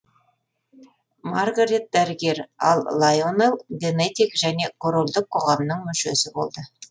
маргарет дәрігер ал лайонел генетик және корольдік қоғамның мүшесі болды